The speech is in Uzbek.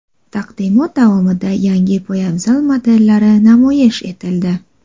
Taqdimot davomida yangi poyabzal modellari namoyish etildi.